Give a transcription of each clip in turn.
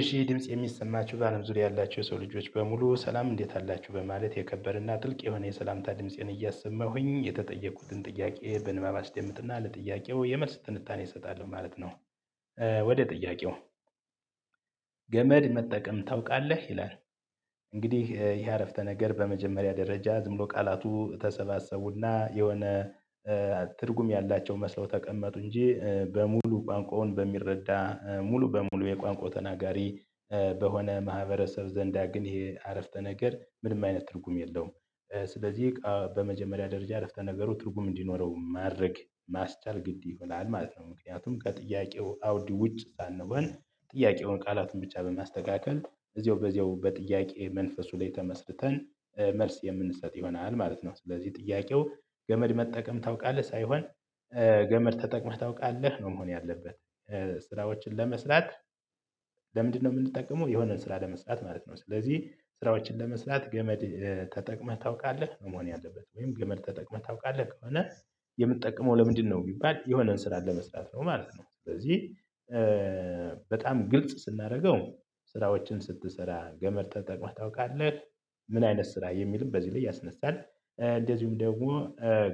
እሺ ይህ ድምጽ የሚሰማችሁ በአለም ዙሪያ ያላችሁ የሰው ልጆች በሙሉ ሰላም እንዴት አላችሁ በማለት የከበረና ጥልቅ የሆነ የሰላምታ ድምፄን እያሰማሁኝ የተጠየቁትን ጥያቄ በንባብ አስደምጥና ለጥያቄው የመልስ ትንታኔ እሰጣለሁ ማለት ነው። ወደ ጥያቄው? ገመድ መጠቀም ታውቃለህ ይላል። እንግዲህ ይሄ አረፍተ ነገር በመጀመሪያ ደረጃ ዝም ብሎ ቃላቱ ተሰባሰቡና የሆነ ትርጉም ያላቸው መስለው ተቀመጡ እንጂ በሙሉ ቋንቋውን በሚረዳ ሙሉ በሙሉ የቋንቋው ተናጋሪ በሆነ ማህበረሰብ ዘንዳ ግን ይሄ አረፍተ ነገር ምንም አይነት ትርጉም የለውም። ስለዚህ ቀ በመጀመሪያ ደረጃ አረፍተ ነገሩ ትርጉም እንዲኖረው ማድረግ ማስቻል ግድ ይሆናል ማለት ነው። ምክንያቱም ከጥያቄው አውዲ ውጭ ሳንሆን ጥያቄውን ቃላትን ብቻ በማስተካከል እዚሁ በዚያው በጥያቄ መንፈሱ ላይ ተመስርተን መልስ የምንሰጥ ይሆናል ማለት ነው። ስለዚህ ጥያቄው ገመድ መጠቀም ታውቃለህ ሳይሆን ገመድ ተጠቅመህ ታውቃለህ ነው መሆን ያለበት። ስራዎችን ለመስራት። ለምንድነው የምንጠቀመው የሆነ ስራ ለመስራት ማለት ነው። ስለዚህ ስራዎችን ለመስራት ገመድ ተጠቅመህ ታውቃለህ ነው መሆን ያለበት ወይም ግመል ተጠቅመህ ታውቃለህ ከሆነ። የምትጠቅመው ለምንድነው ቢባል የሆነን ስራ ለመስራት ነው ማለት ነው። ስለዚህ በጣም ግልጽ ስናደርገው ስራዎችን ስትሰራ ገመድ ተጠቅመህ ታውቃለህ? ምን አይነት ስራ የሚልም በዚህ ላይ ያስነሳል እንደዚሁም ደግሞ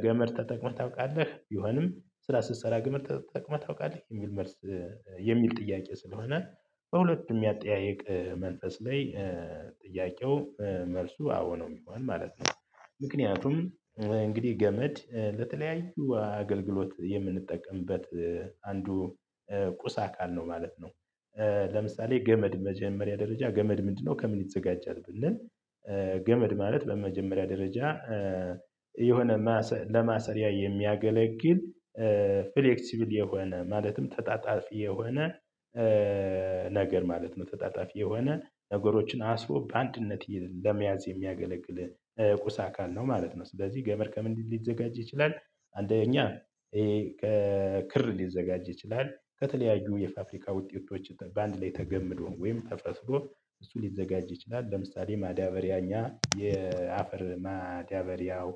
ገመድ ተጠቅመህ ታውቃለህ ቢሆንም ስራ ስትሰራ ገመድ ተጠቅመህ ታውቃለህ የሚል መልስ የሚል ጥያቄ ስለሆነ በሁለቱም የአጠያይቅ መንፈስ ላይ ጥያቄው መልሱ አዎ ነው የሚሆነው ማለት ነው። ምክንያቱም እንግዲህ ገመድ ለተለያዩ አገልግሎት የምንጠቀምበት አንዱ ቁስ አካል ነው ማለት ነው። ለምሳሌ ገመድ መጀመሪያ ደረጃ ገመድ ምንድነው ከምን ይዘጋጃል ብንል? ገመድ ማለት በመጀመሪያ ደረጃ የሆነ ለማሰሪያ የሚያገለግል ፍሌክሲብል የሆነ ማለትም ተጣጣፊ የሆነ ነገር ማለት ነው። ተጣጣፊ የሆነ ነገሮችን አስቦ በአንድነት ለመያዝ የሚያገለግል ቁሳ አካል ነው ማለት ነው። ስለዚህ ገመድ ከምንድን ሊዘጋጅ ይችላል? አንደኛ ይሄ ከክር ሊዘጋጅ ይችላል ከተለያዩ የፋ ብብሪካ ውጤቶች በአንድ ላይ ተገምዶን ወይም ተፈስዶ እሱ ሊዘጋጅ ይችላል። ለምሳሌ ማ ዳቦ ግሪያኛ የአፈር ማዲያ በሪያው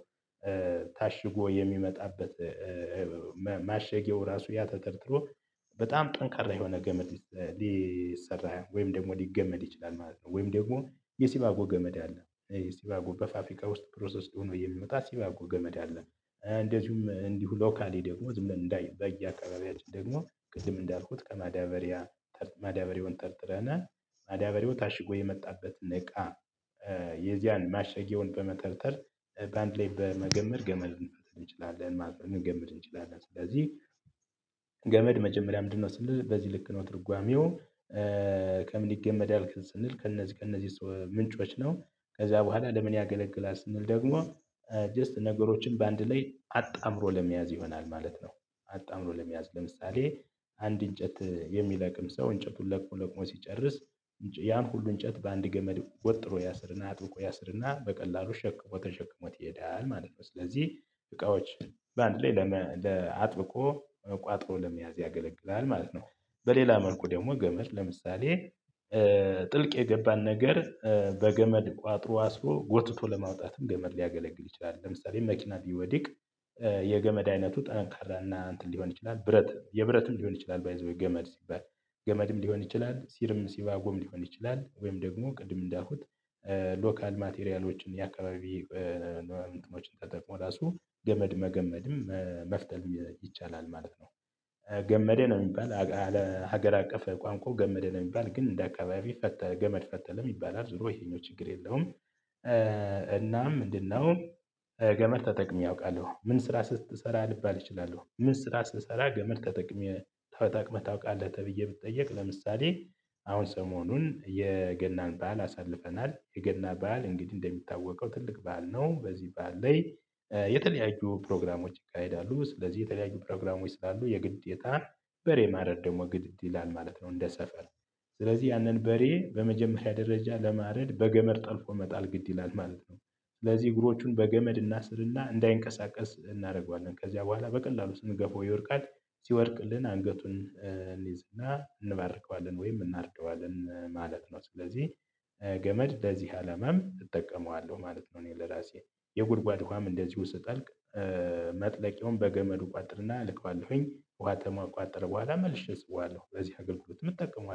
ታሽጎ የሚመጣበት ማማሸጊያው ራሱ ያ ተጠርጥሮ በጣም ጠንካራ የሆነ ገመድ ሊሰራ ወይም ደግሞ ሊገመድ ይችላል ማለት ነው። ወይም ደግሞ የሲባጎ ገመድ አለ። ሲባጎ በፋ ብሪካ ውስጥ ፕሮሰስድ ሆኖ የሚመጣ ሲባጎ ገመድ አለ። እንደዚሁም እንዲሁ ሎካሊ ደግሞ ዝም ብለን በየአካባቢያችን ደግሞ ቅድም እንዳልኩት ከማዳበሪያ ማዳበሪያውን ተርትረን ማዳበሪያው ታሽጎ የመጣበትን እቃ የዚያን ማሸጊያውን በመተርተር በአንድ ላይ በመገመድ ገመድ እንችላለን ማለት ነው። ልንገመድ እንችላለን ስለዚህ ገመድ መጀመሪያ ምንድነው ስንል በዚህ ልክ ነው ትርጓሜው። ከምን ይገመዳል ስንል ከእነዚህ ከእነዚህ ሰዎ ምንጮች ነው። ከዛ በኋላ ለምን ያገለግላል ስንል ደግሞ ጀስት ነገሮችን በአንድ ላይ አጣምሮ ለመያዝ ይሆናል ማለት ነው። አጣምሮ ለመያዝ ለምሳሌ አንድ እንጨት የሚለቅም ሰው እንጨቱን ለቅሞ ለቅሞ ሲጨርስ ያን ሁሉ እንጨት በአንድ ገመድ ወጥሮ ያስርና አጥብቆ ያስርና በቀላሉ ሸክፎ ተሸክሞት ይሄዳል ማለት ነው። ስለዚህ እቃዎች በአንድ ላይ ለአጥብቆ ቋጥሮ ለመያዝ ያገለግላል ማለት ነው። በሌላ መልኩ ደግሞ ገመድ ለምሳሌ ጥልቅ የገባን ነገር በገመድ ቋጥሮ አስሮ ጎትቶ ለማውጣትም ገመድ ሊያገለግል ይችላል። ለምሳሌ መኪና ቢወዲቅ የገመድ አይነቱ ጠንካራና እንትን ሊሆን ይችላል ብረት የብረትም ሊሆን ይችላል ባይ ዘ ዌይ ገመድ ሲባል። ገመድም ሊሆን ይችላል ሲርም ሲባጎም ሊሆን ይችላል ወይም ደግሞ ቅድም እንዳልኩት ሎካል ማቴሪያሎችን የአካባቢ ኖ እንትኖችን ተጠቅሞ ራሱ ገመድ መገመድም መፍተልም ይቻላል ማለት ነው። ገመደ ነው የሚባል አግ አለ ሀገር አቀፍ ቋንቋው ገመደ ነው የሚባል ግን እንደ አካባቢ ፈተ ገመድ ፈተለም ይባላል ዞሮ ይሄኛው ችግር የለውም። እናም ምንድን ነው? ገመድ ተጠቅሜ አውቃለሁ ምን ስራ ስትሰራ ልባል እችላለሁ ምን ስራ ስሰራ ገመድ ተጠቅሜ ተጠቅመህ ታውቃለህ ተብዬ ብትጠየቅ ለምሳሌ። አሁን ሰሞኑን የገናን በዓል አሳልፈናል የገና በዓል እንግዲህ እንደሚታወቀው ትልቅ በዓል ነው። በዚህ በዓል ላይ የተለያዩ ፕሮግራሞች ይካሄዳሉ። ስለዚህ የተለያዩ ፕሮግራሞች ስላሉ የግዴታ በሬ ማረድ ደግሞ ግድ ይላል ማለት ነው። እንደ ሰፈር ስለዚህ ያንን በሬ በመጀመሪያ ደረጃ ለማረድ በገመድ ጠልፎ መጣል ግድ ይላል ማለት ነው። ስለዚህ እግሮቹን በገመድ እናስርና እንዳይንቀሳቀስ እናደርገዋለን ከዚያ በኋላ በቀላሉ ስን ገፈው ይወድቃል። ሲወድቅልን አንገቱን እንይዝና እንባርከዋለን ወይም እናርደዋለን ማለት ነው። ስለዚህ ገመድ ለዚህ አላማም እጠቀመዋለሁ ማለት ነው። እኔ ለራሴ የጉድጓድ ውሃም እንደዚሁ ስጠልቅ መጥለቄውን በገመዱ እቋጥርና አልከዋለሁኝ ውሃ ተሟከቋጠረ በኋላ መልሼ እስበዋለሁ። ለዚህ አገልግሎት እጠቀመዋለሁ